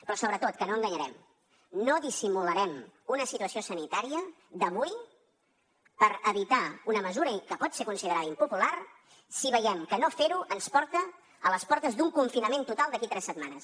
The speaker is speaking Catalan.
però sobretot que no enganyarem no dissimularem una situació sanitària d’avui per evitar una mesura que pot ser considerada impopular si veiem que no fer ho ens porta a les portes d’un confinament total d’aquí tres setmanes